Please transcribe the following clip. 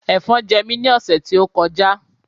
Ẹ̀fọn jẹ mí ní ọ̀sẹ̀ tí ó kọjá